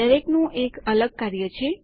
દરેકનું એક અલગ કાર્ય છે